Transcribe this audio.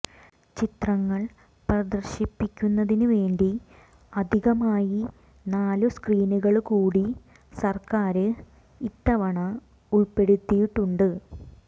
ചിത്രങ്ങൾ പ്രേദർശിപ്പിക്കുന്നതിന് വേണ്ടി അധികമായി നാലു സ്ക്രീനുകള്കൂടി സര്ക്കാര് ഇത്തവണ ഉള്പ്പെടുത്തിയിട്ടുണ്ട്